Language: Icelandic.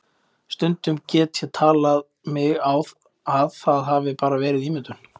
Stundum get ég talið mig á að það hafi bara verið ímyndun.